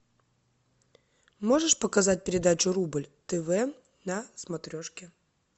можешь показать передачу рубль тв на смотрешке